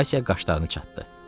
Valsya qaşlarını çatdı.